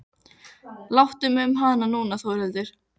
Láttu mig um hana núna Þórhildur.